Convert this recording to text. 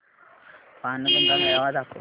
बाणगंगा मेळावा दाखव